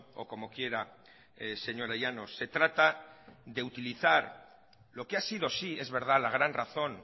o como quiera señora llanos se trata de utilizar lo que ha sido sí es verdad la gran razón